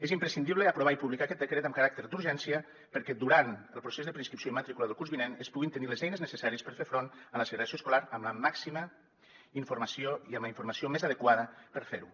és imprescindible aprovar i publicar aquest decret amb caràcter d’urgència perquè durant el procés de preinscripció i matrícula del curs vinent es puguin tenir les eines necessàries per fer front a la segregació escolar amb la màxima informació i amb la informació més adequada per fer ho